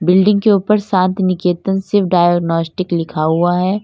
Building के ऊपर Shantiniketan Shiv diagnostic लिखा हुआ है।